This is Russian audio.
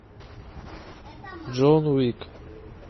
джон уик